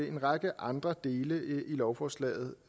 en række andre dele i lovforslaget